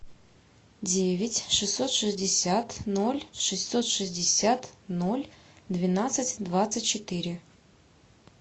девять шестьсот шестьдесят ноль шестьсот шестьдесят ноль двенадцать двадцать четыре